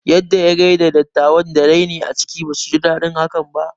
Yadda ya gaida dattawan da raini a ciki, basu ji daɗin haka ba